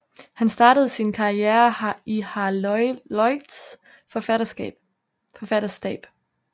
Han startede sin karriere i Harold Lloyds forfatterstab